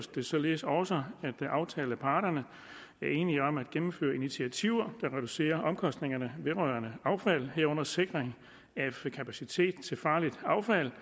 det således også at aftaleparterne er enige om at gennemføre initiativer der reducerer omkostningerne vedrørende affald herunder sikring af kapacitet til farligt affald